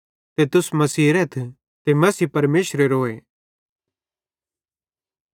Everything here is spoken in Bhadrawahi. ते तुस मसीहेरेथ ते मसीह परमेशरेरोए